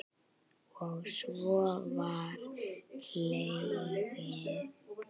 Og svo var hlegið.